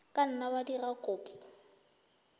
ka nna wa dira kopo